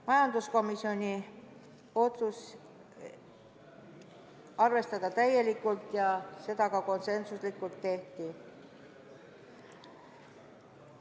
Majanduskomisjoni otsus oli arvestada seda ettepanekut täielikult ja seda ka konsensuslikult tehti.